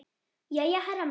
Jæja, herra minn.